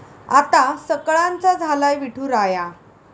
आता सकळांचा झालाय विठुराया!